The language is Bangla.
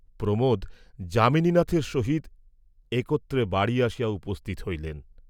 প্রমােদ যামিনীনাথের সহিত একত্রে বাড়ী আসিয়া উপস্থিত হইলেন।